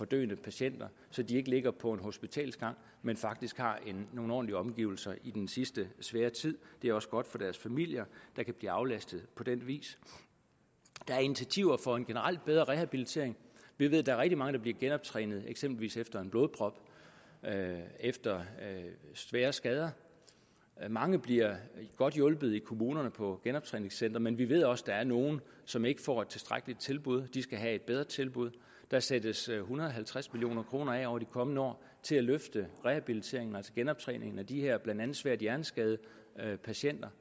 døende patienter så de ikke ligger på en hospitalsgang men faktisk har nogle ordentlige omgivelser i den sidste svære tid det er også godt for deres familier der kan blive aflastet på den vis der er initiativer for en generelt bedre rehabilitering vi ved at der er rigtig mange der bliver genoptrænet eksempelvis efter en blodprop efter svære skader mange bliver godt hjulpet i kommunerne på genoptræningscentre men vi ved også at der er nogle som ikke får et tilstrækkeligt tilbud og de skal have et bedre tilbud der sættes en hundrede og halvtreds million kroner af over de kommende år til at løfte rehabiliteringen altså genoptræningen af de her blandt andet svært hjerneskadede patienter